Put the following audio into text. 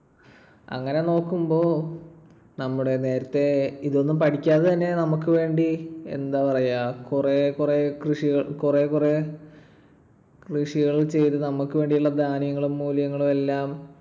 അങ്ങനെ നോക്കുമ്പോൾ നമ്മുടെ നേരത്തെ ഇതൊന്നും പഠിക്കാതെതന്നെ നമുക്ക് വേണ്ടി എന്താ പറയുക, കുറെ കുറെ കൃഷികൾ ~ കുറെ കുറെ കൃഷികൾ ചെയ്ത് നമുക്ക് വേണ്ടിയുള്ള ധാന്യങ്ങളും മൂലകങ്ങളുമെല്ലാം